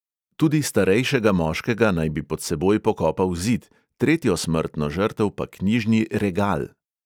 Tudi starejšega moškega naj bi pod seboj pokopal zid, tretjo smrtno žrtev pa knjižni regal.